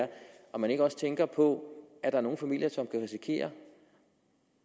om man ikke også tænker på at der er nogle familier som kan risikere